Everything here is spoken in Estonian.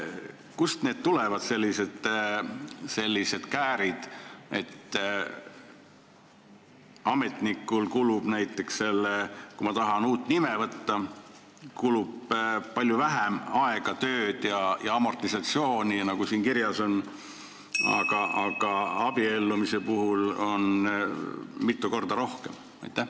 Kust tulevad sellised käärid, et ametnikul läheb näiteks selle peale, kui ma tahan uut nime võtta, palju vähem aega, töö- ja amortisatsioonikulu, nagu siin kirjas on, aga abiellumise puhul mitu korda rohkem?